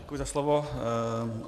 Děkuji za slovo.